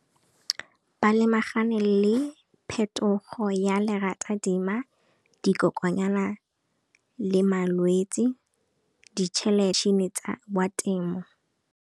Ba lemagane le phetogo ya lerata dima, dikokonyana le malwetsi, tsa temo.